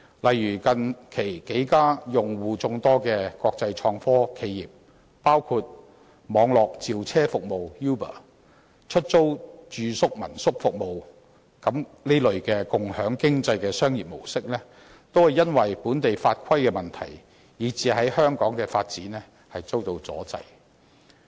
例如，近期數間用戶眾多的國際創科企業，包括網絡召車服務 Uber 及出租住宿的民宿服務提供者，所進行的"共享經濟"商業活動，均因為本地法規問題，以致在香港的發展遇到阻滯。